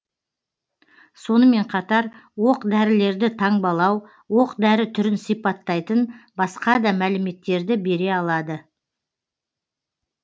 сонымен қатар оқ дәрілерді таңбалау оқ дәрі түрін сипаттайтын басқа да мәліметтерді бере алады